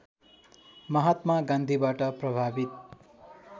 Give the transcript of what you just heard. महात्मा गान्धीबाट प्रभावित